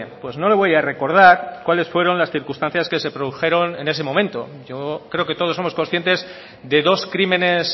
pues no le voy a recordar cuáles fueron las circunstancias que se produjeron en ese momento yo creo que todos somos conscientes de dos crímenes